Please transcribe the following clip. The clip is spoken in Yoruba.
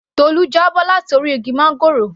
Tolu já bọ́ láti orí igi máńgòrò